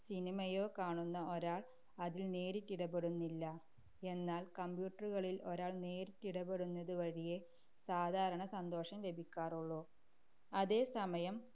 cinema യോ കാണുന്ന ഒരാൾ അതിൽ നേരിട്ടിടപെടുന്നില്ല, എന്നാൽ computer കളില്‍ ഒരാൾ നേരിട്ടിടപെടുന്നതു വഴിയെ സാധാരണ സന്തോഷം ലഭിക്കാറുള്ളു. അതേസമയം